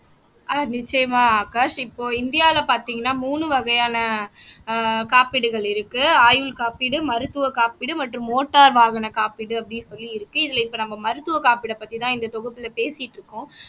ஆஹ் நிச்சயமா ஆகாஷ் இப்போ இந்தியாவுல பார்த்தீங்கன்னா மூணு வகையான ஆஹ் காப்பீடுகள் இருக்கு ஆயுள் காப்பீடு மருத்துவக் காப்பீடு மற்றும் மோட்டார் வாகனக் காப்பீடு அப்படின்னு சொல்லி இருக்கு இதுல இப்ப நம்ம மருத்துவ காப்பீடப் பத்திதான் இந்த தொகுப்புல பேசிட்டு இருக்கோம்